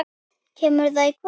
Kemur það í kvöld?